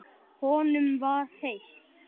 Honum var heitt.